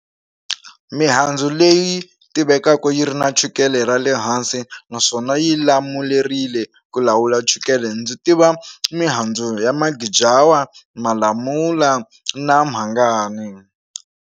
Mihandzu leyi tivekaka yi ri na chukele ra le hansi naswona yi lamulerile ku lawula chukele ndzi tiva mihandzu ya magijawa, malamula na mhangani.